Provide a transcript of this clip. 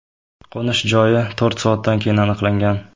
Qo‘nish joyi to‘rt soatdan keyin aniqlangan.